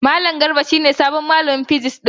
Malam Garba shi ne sabon malamin mu na physics.